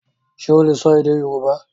Ṣe o le sọ èdè Yorùbá?